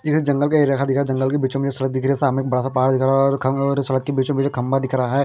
ये एक जंगल का एरिया दिख रहा जंगल के बीचो बिच सामने बड़ासा पहाड़ दिख रहा है और सड़क के बीचो बिच खंबा दिख रहा है।